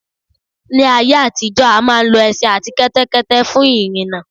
Ní ayé àtijó a máa ń lo ẹṣin àti kẹ́tẹ́kẹ́tẹ́ fún ìrìnà